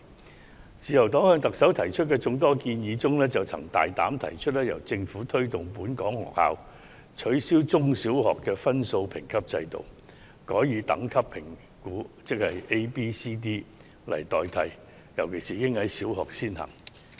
在自由黨向特首提出的眾多建議中，我們曾大膽提出由政府推動本港中、小學取消分數評級制度，改以 A、B、C、D 的等級作出評估，特別是應在小學先行。